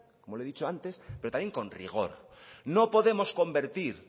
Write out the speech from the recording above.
como le he dicho antes pero también con rigor no podemos convertir